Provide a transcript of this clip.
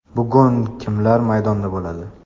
Bugun kimlar maydonda bo‘ladi?